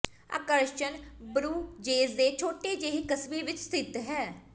ਆਕਰਸ਼ਣ ਬਰੂਜੇਸ ਦੇ ਛੋਟੇ ਜਿਹੇ ਕਸਬੇ ਵਿੱਚ ਸਥਿਤ ਹੈ